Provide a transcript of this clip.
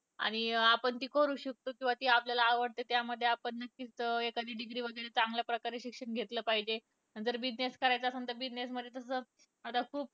आणि आपण ती करू शकतो. किंवा ती आपल्याला आवडते त्यामध्ये आपण नक्कीच एखादी degree वैगरे चांगल्या प्रकारे शिक्षण घेतलं पाहिजे. जर business करायचा असेल तर business मध्ये आता खूप